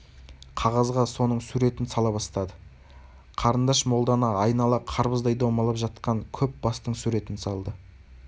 қағазға соның суретін сала бастады қарындаш молданы айнала қарбыздай домалап жатқан көп бастың суретін салды